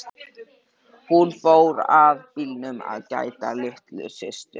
Hún fór að bílnum að gæta að litlu systur.